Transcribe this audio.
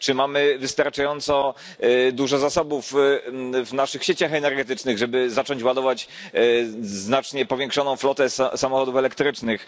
Czy mamy wystarczająco dużo zasobów w naszych sieciach energetycznych, żeby zacząć ładować znacznie powiększoną flotę samochodów elektrycznych?